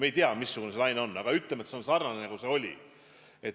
Me ei tea, missugune see laine on, vahest sarnane, nagu see oli.